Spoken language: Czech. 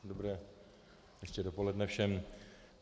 Dobré ještě dopoledne všem.